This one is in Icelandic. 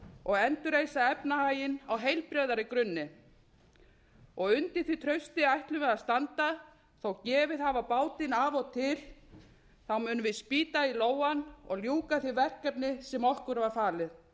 og endurreisa efnahaginn á heilbrigðari grunni undir því trausti ætlum við að standa þótt gefið hafi á bátinn af og til munum við spýta í lófana og ljúka því verkefni sem okkur var falið